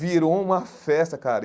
Virou uma festa, cara.